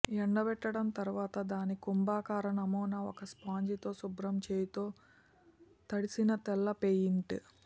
ఎండబెట్టడం తరువాత దాని కుంభాకార నమూనా ఒక స్పాంజితో శుభ్రం చేయు తో తడిసిన తెల్ల పెయింట్